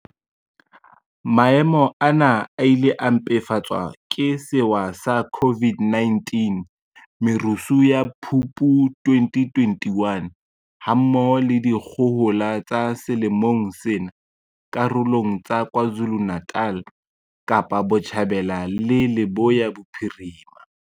Maemo ana a ile a mpefatswa ke sewa sa COVID-19, merusu ya Phupu 2021, ha mmoho le dikgohola tsa selemong sena karolong tsa KwaZulu-Natal, Kapa Botjhabela le Leboya Bophirima.